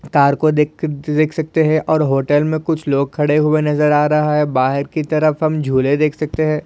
Car को दे--देख सकते है और होटेल मी कुछ लोग खड़े हुए नजर आ रहा है बाहर की तरफ़ हम झूले देख सकते है।